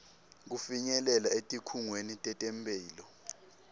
kufinyelela etikhungweni tetemphilo